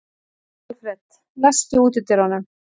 Alfred, læstu útidyrunum.